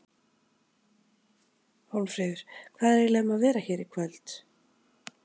Hólmfríður, hvað er eiginlega um að vera hér í kvöld?